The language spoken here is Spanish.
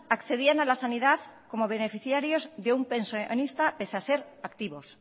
accedían a la sanidad como beneficiarios de un pensionista pese a ser activos